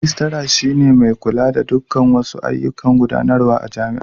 Rijistara shi ne mai kula da dukkan wasu ayyukan gudanarwa na jami'a.